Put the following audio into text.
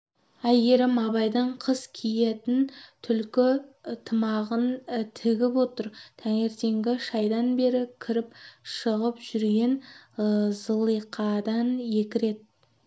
әйгерім абайдың қыс киетін түлкі тымағын тігіп отыр таңертеңгі шайдан бері кіріп-шығып жүрген зылиқадан екі рет